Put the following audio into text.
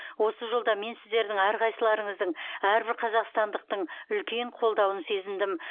осы жолда мен сіздердің әрқайсыларыңыздың әрбір қазақстандықтың үлкен қолдауын сезіндім